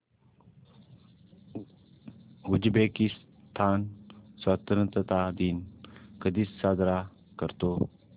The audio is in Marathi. उझबेकिस्तान स्वतंत्रता दिन कधी साजरा करतो